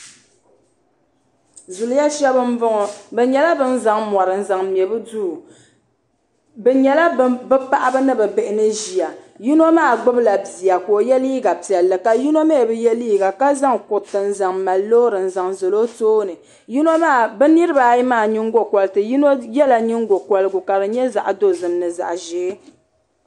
zuliya shab n bɔŋɔ ni nyɛla bin zaŋ mori n zaŋ mɛ bi duu bi nyɛla bi paɣaba ni bi bihi ni ʒiya yino maa gbubila bia ka o yɛ liiga piɛlli ka yino mii bi yɛ liiga ka zaŋ kuriti n zaŋ mali loori n zaŋ zali o tooni bi niraba ayi maa nyingokoriti yino yɛla nyingokorigu ka di nyɛ zaɣ dozim ni zaɣ ʒiɛ